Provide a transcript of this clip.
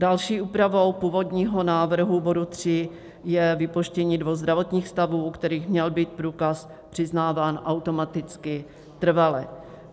Další úpravou původního návrhu bodu 3 je vypuštění dvou zdravotních stavů, u kterých měl být průkaz přiznávám automaticky trvale.